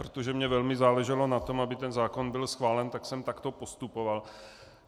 Protože mi velmi záleželo na tom, aby ten zákon byl schválen, tak jsem takto postupoval.